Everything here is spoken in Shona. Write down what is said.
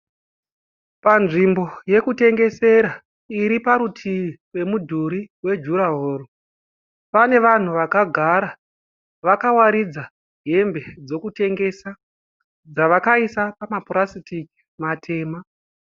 Panzvimbo yekutengesera iri parutivi mudhuri wejurahoro. Pane vanhu vakagara vakawaridza hembe dzokutengesa dzavakaisa pamapurasitiki matema.